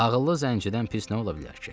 Ağıllı zəncidən pis nə ola bilər ki?